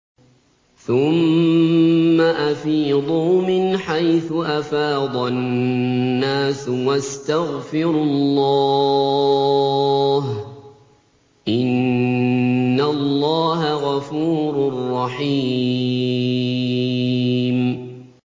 ثُمَّ أَفِيضُوا مِنْ حَيْثُ أَفَاضَ النَّاسُ وَاسْتَغْفِرُوا اللَّهَ ۚ إِنَّ اللَّهَ غَفُورٌ رَّحِيمٌ